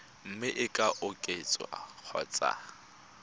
mme e ka oketswa kgotsa